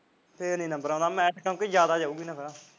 ਫਿਰ ਨੀ ਨੰਬਰ ਆਉਂਦਾ ਮੈਰਿਟ ਜਿਆਦਾ ਜਾਉਗੀ ਇਹਨਾ ਦਾ